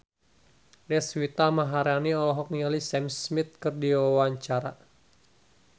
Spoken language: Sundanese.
Deswita Maharani olohok ningali Sam Smith keur diwawancara